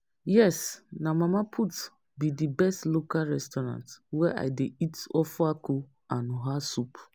yes, na Mama Put be di best local restaurant wey i dey eat ofeakwu and oha soup.